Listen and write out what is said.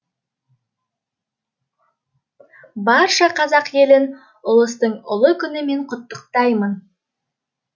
барша қазақ елін ұлыстың ұлы күнімен құттықтаймын